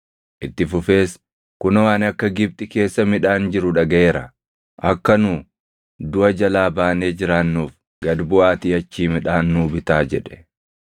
Itti fufees, “Kunoo ani akka Gibxi keessa midhaan jiru dhagaʼeera. Akka nu duʼa jalaa baanee jiraannuuf gad buʼaatii achii midhaan nuu bitaa” jedhe.